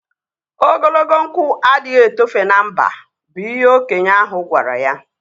Ogologo nkwụ adịghị etofe na mba bụ ihe okenye ahụ gwara ya